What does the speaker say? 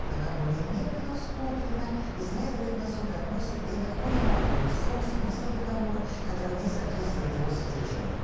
в договоре не предусмотрено исследовать на суд относит это к пониманию сумм смысла договора который не соответствует его содержанию